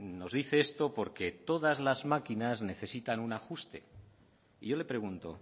nos dice esto porque todas las máquinas necesitan un ajuste y yo le pregunto